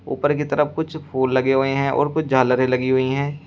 ऊपर की तरफ कुछ फूल लगे हुए हैं और कुछ झालरें लगी हुई हैं।